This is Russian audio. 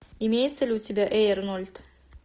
имеется ли у тебя эй арнольд